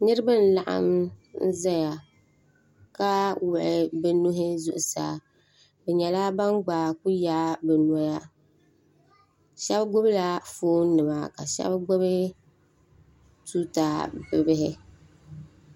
Niriba n-laɣim n-zaya ka wuɣi bɛ nuhi zuɣusaa bɛ nyɛla ban gba kuli yaai bɛ noya shɛba gbubila foonima ka shɛba gbubi tuuta bibihi.